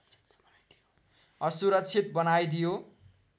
असुरक्षित बनाइदियो